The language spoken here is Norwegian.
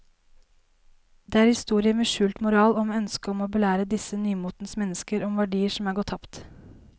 Det er historier med skjult moral og med ønske om å belære disse nymotens mennesker om verdier som er gått tapt.